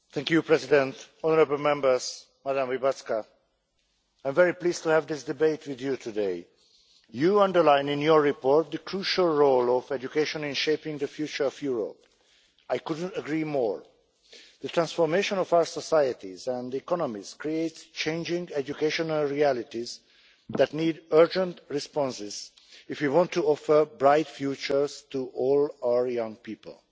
Mr President, honourable Members, Madam Łybacka, I'm very pleased to have this debate with you today. You underline in your report the crucial role of education in shaping the future of Europe. I couldn't agree more. The transformation of our societies and economies creates changing education realities that need urgent responses if we want to offer bright futures to all our young people.